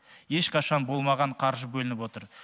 ешқашан болмаған қаржы бөлініп отыр